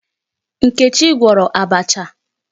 Nkechi gwọrọ abacha.